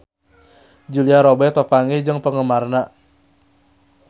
Julia Robert papanggih jeung penggemarna